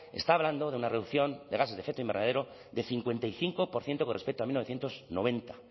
está hablando de una reducción de gases de efecto invernadero de cincuenta y cinco por ciento con respecto a mil novecientos noventa